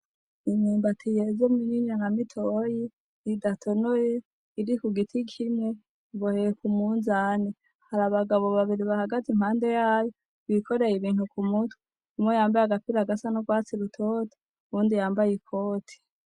Imyumbati yeze minini na mitoyi idatonoye iri ku giti kimwe, iboheye ku munzane. Hari abagabo babiri bahagaze impande yayo bikoreye ibintu ku mutwe, umwe yambaye agapira gasa n'urwatsi rutoto uyundi yambaye ikoti.